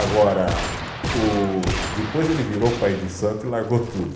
Agora o, depois ele virou pai de santo e largou tudo.